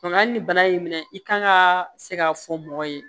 Nka hali ni bana y'i minɛ i kan ka se k'a fɔ mɔgɔ ye